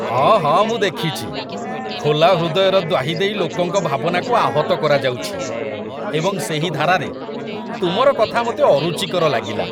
ହଁ ହଁ ମୁଁ ଦେଖିଛି, ଖୋଲା ହୃଦୟର ଦ୍ୱାହି ଦେଇ ଲୋକଙ୍କ ଭାବନାକୁ ଆହତ କରାଯାଉଛି, ଏବଂ ସେହି ଧାରାରେ, ତୁମର କଥା ମୋତେ ଅରୁଚିକର ଲାଗିଲା।